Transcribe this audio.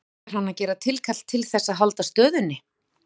Ætlar hann að gera tilkall til þess að halda stöðunni?